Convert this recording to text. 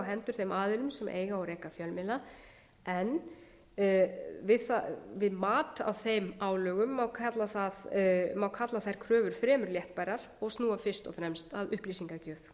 hendur þeim aðilum sem eiga og reka fjölmiðla en viðmið á þeim álögum má kalla þær kröfur fremur léttbærar og snúa fyrst og fremst að upplýsingagjöf